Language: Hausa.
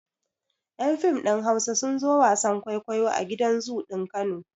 Yan fim ɗin Hausa sun zo wasan kwaikwayo a gidan zoo ɗin Kano.